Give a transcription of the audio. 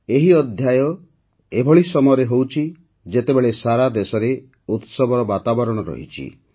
ଏହି ଅଧ୍ୟାୟ ଏଭଳି ସମୟରେ ହେଉଛି ଯେତେବେଳେ ସାରା ଦେଶରେ ଉତ୍ସବର ବାତାବରଣ ରହିଛି